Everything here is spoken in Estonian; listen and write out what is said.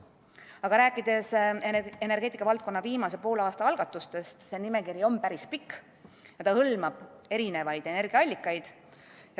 Aga rääkides energeetikavaldkonna viimase poole aasta algatustest, on nimekiri päris pikk ja hõlmab mitmeid energiaallikaid.